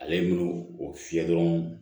Ale ye minnu o fiyɛ dɔrɔn